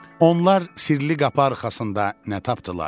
Onlar sirli qapı arxasında nə tapdılar?